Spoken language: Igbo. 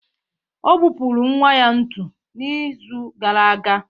Ọ gbupụrụ nwa ya ntu n'izu gara aga